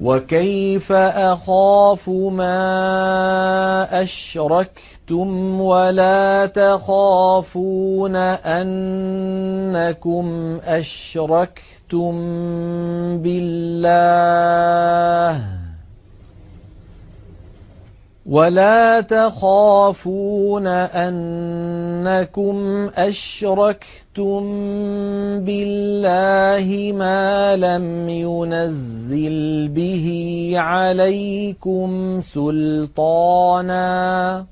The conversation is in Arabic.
وَكَيْفَ أَخَافُ مَا أَشْرَكْتُمْ وَلَا تَخَافُونَ أَنَّكُمْ أَشْرَكْتُم بِاللَّهِ مَا لَمْ يُنَزِّلْ بِهِ عَلَيْكُمْ سُلْطَانًا ۚ